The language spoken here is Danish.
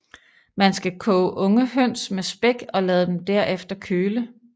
Man skal koge unge høns med spæk og lad dem derefter køle